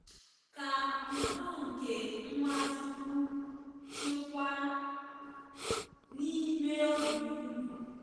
“Ka udo nke Nwachukwu chịkwaa n’ime obi unu.